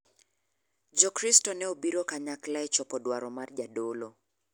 Jo kristo ne obiro kanyakla e chopo dwaro mar jadolo.